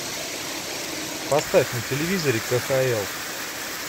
поставь на телевизоре кхл